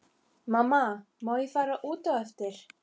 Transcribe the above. Mamma má ég fara út á eftir?